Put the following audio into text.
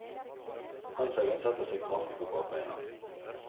Hanshaugen setter seg kraftig på bakbena.